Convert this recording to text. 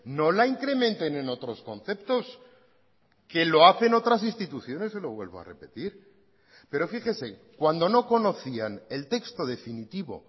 no la incrementen en otros conceptos que lo hacen otras instituciones se lo vuelvo a repetir pero fíjese cuando no conocían el texto definitivo